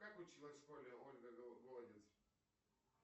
как училась в школе ольга голодец